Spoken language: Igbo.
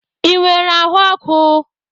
Ị nwere ahụ ọkụ?